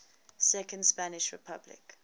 second spanish republic